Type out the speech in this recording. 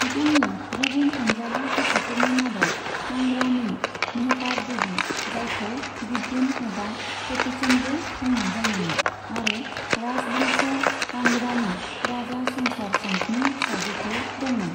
बिथांनि गुबुन अनजालि बिसिफोरनि मादाव कांगड़ानि मेहताब देवी, जायखौ गुड्डन एबा कटोचनबो बुंनाय जायोमोन आरो राज बंस', कांगड़ानि राजा संसार चंदनि फिसाजोफोर दंमोन।